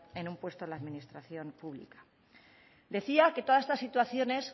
en un puesto en la administración pública decía que todas estas situaciones